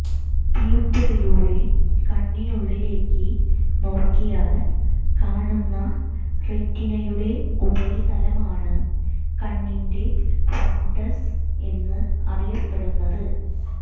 പ്യൂപ്പിളിലൂടെ കണ്ണിനുള്ളിലേക്ക് നോക്കിയാൽ കാണുന്ന റെറ്റിനയുടെ ഉപരിതലമാണ് കണ്ണിന്റെ ഫണ്ടസ് എന്ന് അറിയപ്പെടുന്നത്